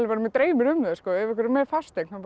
mig dreymir um það ef einhver er með fasteign þá